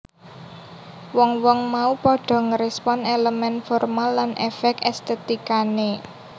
Wong wong mau padha ngrespon elemen formal lan efek estetikane